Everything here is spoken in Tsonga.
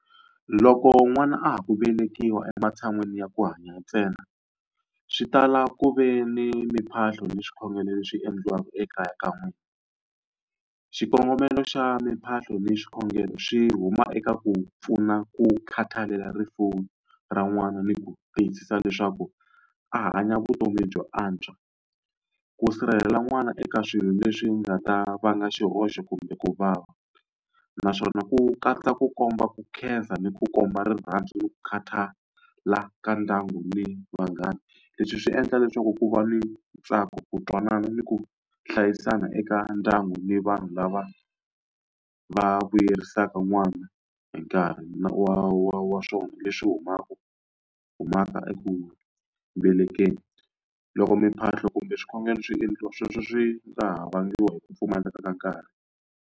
Loko n'wana a ha ku velekiwa ematshan'wini ya ku hanya ntsena, swi tala ku ve ni mimphahlo ni swikhongelo leswi endliwaka ekaya ka n'wina. Xikongomelo xa mimphahlo ni swikhongelo swi huma eka ku pfuna ku khathalela rifuwo ra n'wana ni ku tiyisisa leswaku a hanya vutomi byo antswa, ku sirhelela n'wana eka swilo leswi nga ta vanga xihoxo kumbe ku vava. Naswona ku katsa ku komba ku khensa ni ku komba rirhandzu ni ku khatala ka ndyangu ni vanghana. Leswi swi endla leswaku ku va ni ntsako, ku twanana, ni ku hlayisana eka ndyangu ni vanhu lava va vuyerisaka n'wana hi nkarhi wa wa wa swona leswi humaka eku velekeni. Loko mimphahlo kumbe swikhongelo swi endliwa sweswo swi nga ha vangiwa hi ku pfumaleka ka nkarhi.